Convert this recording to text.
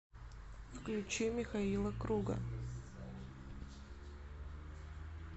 включи михаила круга